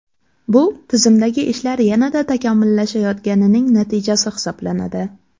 Bu tizimdagi ishlar yanada takomillashayotganining natijasi hisoblanadi.